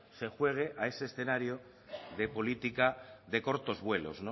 se juegue a ese escenario de política de cortos vuelos